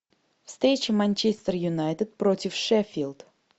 встреча манчестер юнайтед против шеффилд